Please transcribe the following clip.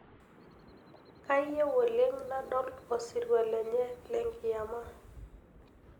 Kayieu oleng' nadol osirua lenye lenkiyama.